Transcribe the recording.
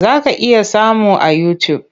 Za ka iya samun a yutub.